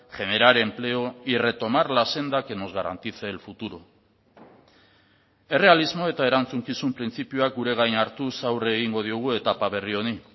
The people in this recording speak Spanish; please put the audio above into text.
generar empleo y retomar la senda que nos garantice el futuro errealismo eta erantzukizun printzipioak gure gain hartuz aurre egingo diogu etapa berri honi